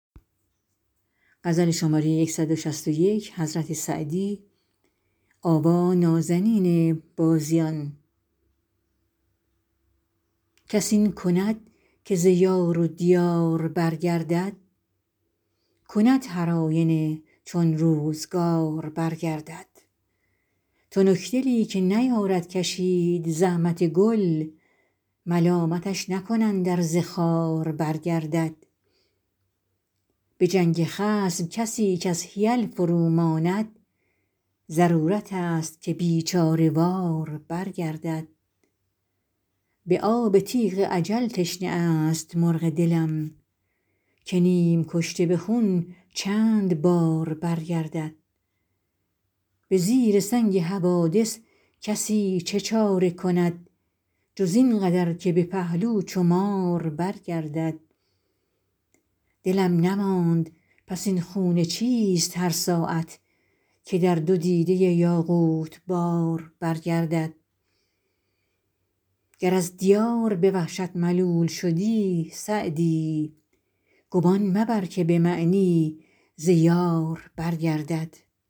کس این کند که ز یار و دیار برگردد کند هرآینه چون روزگار برگردد تنکدلی که نیارد کشید زحمت گل ملامتش نکنند ار ز خار برگردد به جنگ خصم کسی کز حیل فروماند ضرورتست که بیچاره وار برگردد به آب تیغ اجل تشنه است مرغ دلم که نیم کشته به خون چند بار برگردد به زیر سنگ حوادث کسی چه چاره کند جز این قدر که به پهلو چو مار برگردد دلم نماند پس این خون چیست هر ساعت که در دو دیده یاقوت بار برگردد گر از دیار به وحشت ملول شد سعدی گمان مبر که به معنی ز یار برگردد